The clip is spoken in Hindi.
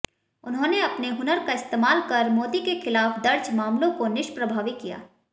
उन्होंने अपने हुनर का इस्तेमाल कर मोदी के खिलाफ दर्ज मामलों को निष्प्रभावी किया